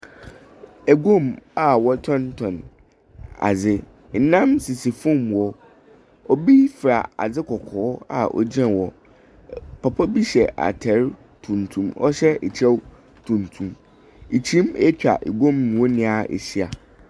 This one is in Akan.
Guam a wɔtotɔn adze. Nnam sisi fam hɔ. Obi fura adze kɔkɔɔ a ogyina hɔ. Papa bi hyɛ atar tuntum, ɔhyɛ kyɛw tuntum. Kyin atwa guam hɔ nyinaa ahyia.